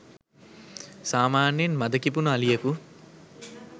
සාමාන්‍යයෙන් මද කිපුන අලියකු